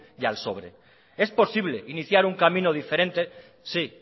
y al sobre es posible iniciar un camino diferente sí